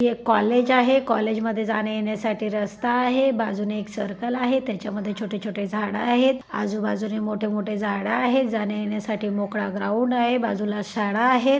हे एक कॉलेज आहे कॉलेज मध्ये जाण्या येण्यासाठी रस्ता आहे बाजूने एक सर्कल आहे त्याच्या मध्ये छोटेछोटे झाड आहेत आजूबाजूनी मोठे मोठे झाड आहेत जाण्या येण्यासाठी मोकळा ग्राऊंड आहे बाजूला शाळा आहे.